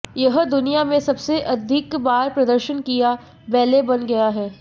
यह दुनिया में सबसे अधिक बार प्रदर्शन किया बैले बन गया है